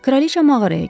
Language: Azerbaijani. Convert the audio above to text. Kraliça mağaraya girdi.